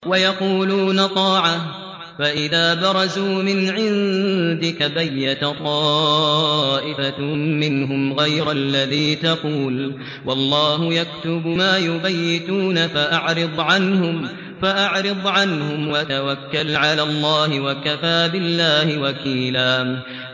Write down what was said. وَيَقُولُونَ طَاعَةٌ فَإِذَا بَرَزُوا مِنْ عِندِكَ بَيَّتَ طَائِفَةٌ مِّنْهُمْ غَيْرَ الَّذِي تَقُولُ ۖ وَاللَّهُ يَكْتُبُ مَا يُبَيِّتُونَ ۖ فَأَعْرِضْ عَنْهُمْ وَتَوَكَّلْ عَلَى اللَّهِ ۚ وَكَفَىٰ بِاللَّهِ وَكِيلًا